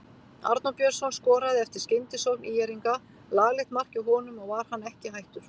Arnór Björnsson skoraði eftir skyndisókn ÍR-inga, laglegt mark hjá honum og var hann ekki hættur.